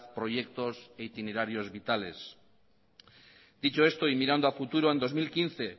proyectos e itinerarios vitales dicho esto y mirando a futuro en dos mil quince